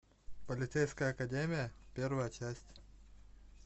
полицейская академия первая часть